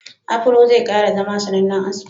Afuro zai kara zama sanannen aski.